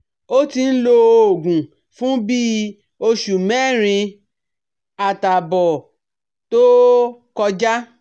ó ti ń lo òògùn fún bí i oṣù mẹ́rin àtààbọ̀ tó kọjá